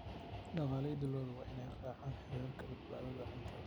Dhaqanleyda lo'du waa inay raacaan heerarka badbaadada cuntada.